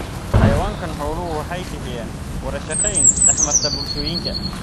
Xayawaanka xooluhu waxay bixiyaan wada shaqayn dhex marta bulshooyinka.